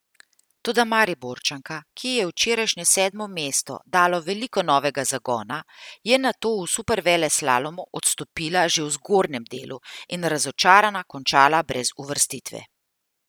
Toda Mariborčanka, ki ji je včerajšnje sedmo mesto dalo veliko novega zagona, je nato v superveleslalomu odstopila že v zgornjem delu in razočarana končala brez uvrstitve.